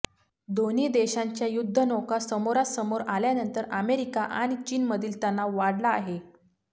दोन्ही देशांच्या युद्धनौका समोरासमोर आल्यानंतर अमेरिका आणि चीनमधील तणाव वाढला आहे